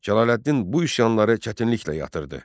Cəlaləddin bu üsyanları çətinliklə yatırtdı.